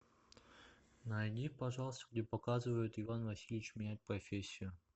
найди пожалуйста где показывают иван васильевич меняет профессию